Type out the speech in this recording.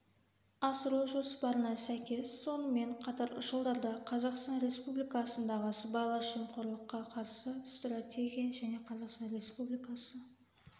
асыру жоспарына сәйкес сонымен қатар жылдарда қазақстан республикасындағы сыбайлас жемқорлыққа қарсы стратегия және қазақстан республикасы